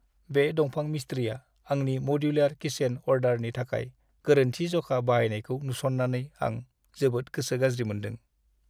बे दंफां मिस्ट्रिया आंनि मडुलार किचेन अर्डारनि थाखाय गोरोन्थि जखा बाहायनायखौ नुसन्नानै आं जोबोद गोसो गाज्रि मोन्दों।